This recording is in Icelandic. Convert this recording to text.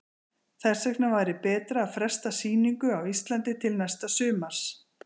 Þess vegna væri betra að fresta sýningu á Íslandi til næsta sumars.